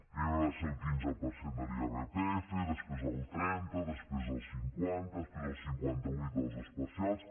primer va ser el quinze per cent de l’irpf després el trenta després el cinquanta després el cinquanta vuit dels especials